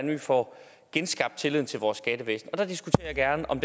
vi får genskabt tilliden til vores skattevæsen og der diskuterer jeg gerne om